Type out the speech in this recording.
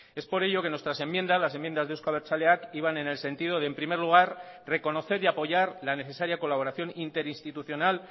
es por ello que nuestras enmiendas las enmiendas de eusko abertzaleak iban en el sentido de en primer lugar reconocer y apoyar la necesaria colaboración interinstitucional